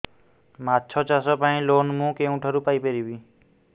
ମାଛ ଚାଷ ପାଇଁ ଲୋନ୍ ମୁଁ କେଉଁଠାରୁ ପାଇପାରିବି